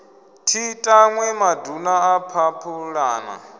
thi tanwi maduna a phaphulana